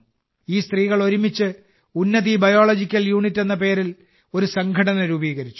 ഈ സ്ത്രീകൾ ഒരുമിച്ച് ഉന്നതി ബയോളജിക്കൽ യൂണിറ്റ്എന്ന പേരിൽ ഒരു സംഘടന രൂപീകരിച്ചു